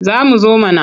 Za mu zo mana.